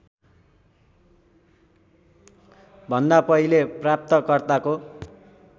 भन्दा पहिले प्राप्तकर्ताको